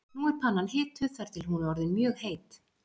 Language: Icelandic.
Nú er pannan hituð þar til hún er orðin mjög heit.